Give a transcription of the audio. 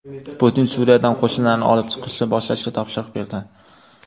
Putin Suriyadan qo‘shinlarni olib chiqishni boshlashga topshiriq berdi.